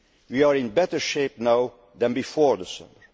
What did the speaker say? improvement. We are in better shape now than before